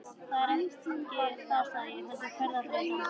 Það er ekki það sagði ég, heldur ferðaþreytan.